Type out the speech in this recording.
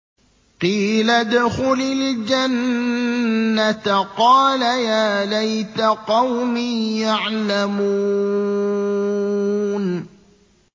قِيلَ ادْخُلِ الْجَنَّةَ ۖ قَالَ يَا لَيْتَ قَوْمِي يَعْلَمُونَ